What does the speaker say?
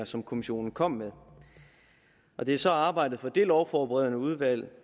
som kommissionen kom med og det er så arbejdet fra det lovforberedende udvalg